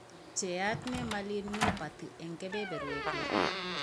Pcheat Nemaline myopathy eng' kebeberwek 6